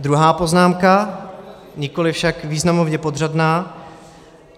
Druhá poznámka, nikoliv však významově podřadná.